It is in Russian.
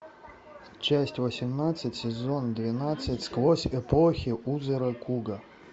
часть восемнадцать сезон двенадцать сквозь эпохи узы ракуго